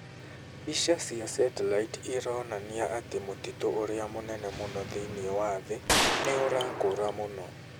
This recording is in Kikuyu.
Mbica cia satellite ironania atĩ mũtitũ ũrĩa mũnene mũno thĩinĩ wa thĩ nĩ ũrakũra mũno.